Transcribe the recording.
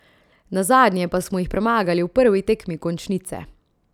Nazadnje pa smo jih premagali v prvi tekmi končnice.